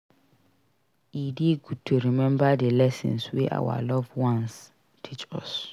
E dey good to remember the lessons wey our loved ones teach us.